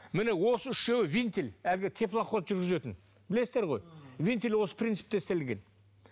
міне осы үшеуі винтиль әлгі теплоход жүргізетін білесіздер ғой винтиль осы принципте істелінген